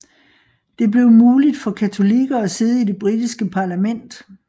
Det blev muligt for katolikker at sidde i det britiske parlament